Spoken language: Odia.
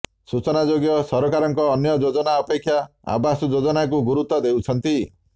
ସୂଚନାଯୋଗ୍ୟ ସରକାରଙ୍କ ଅନ୍ୟ ଯୋଜନା ଅପେକ୍ଷା ଆବାସ ଯୋଜନାକୁ ଗୁରୁତ୍ୱ ଦେଉଛନ୍ତି